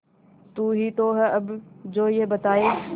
तू ही तो है अब जो ये बताए